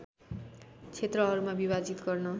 क्षेत्रहरूमा विभाजित गर्न